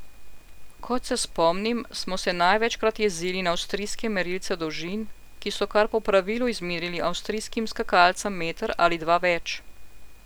Kot se spomnim, smo se največkrat jezili na avstrijske merilce dolžin, ki so kar po pravilu izmerili avstrijskim skakalcem meter ali dva več.